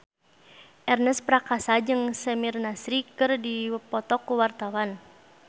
Ernest Prakasa jeung Samir Nasri keur dipoto ku wartawan